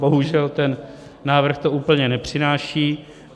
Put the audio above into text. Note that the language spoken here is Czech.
Bohužel ten návrh to úplně nepřináší.